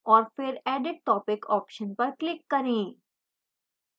और फिर edit topic option पर click करें